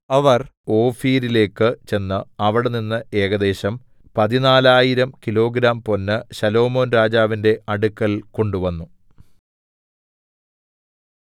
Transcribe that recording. അവർ ഓഫീരിലേക്ക് ചെന്ന് അവിടെനിന്ന് ഏകദേശം 14000 കിലോഗ്രാം പൊന്ന് ശലോമോൻരാജാവിന്റെ അടുക്കൽ കൊണ്ടുവന്നു